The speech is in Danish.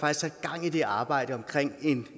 er sat gang i det arbejde omkring